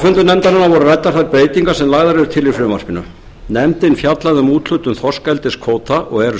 nefndarinnar voru ræddar þær breytingar sem lagðar eru til í frumvarpinu nefndin fjallaði um úthlutun þorskeldiskvóta og er